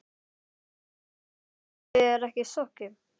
Símon: En skipið er ekki sokkið?